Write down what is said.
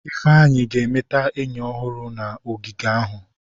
Ifeanyi ga-emeta enyi ọhụrụ na ogige ahụ.